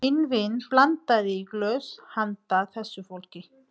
Minn vin blandaði í glös handa þessu fólki.